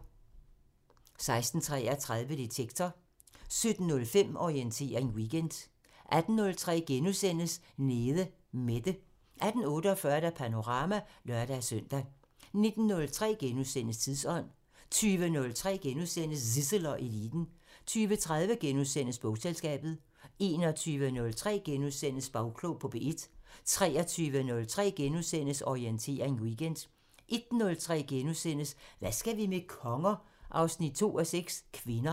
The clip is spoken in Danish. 16:33: Detektor 17:05: Orientering Weekend 18:03: Nede Mette * 18:48: Panorama (lør-søn) 19:03: Tidsånd * 20:03: Zissel og Eliten * 20:30: Bogselskabet * 21:03: Bagklog på P1 * 23:03: Orientering Weekend * 01:03: Hvad skal vi med konger? 2:6 – Kvinder *